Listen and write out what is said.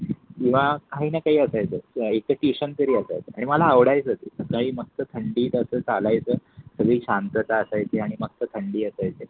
किवा काही ना काही असायचं एक त ट्युशन तरी असायचं आणि मला आवडायचं ते. मस्त थंडी तर चालायचं कधी शांतता असायची आणि मग थंडी असायचे